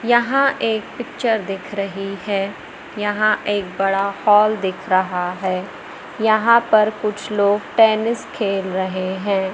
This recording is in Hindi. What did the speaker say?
यहां एक पिक्चर दिख रही है यहां एक बड़ा हॉल दिख रहा है यहां पर कुछ लोग टेनिस खेल रहे हैं।